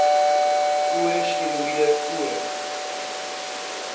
o steroïede o